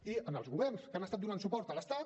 i en els governs que han estat donant suport a l’estat